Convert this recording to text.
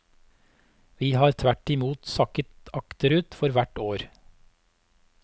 Vi har tvert imot sakket akterut for hvert år.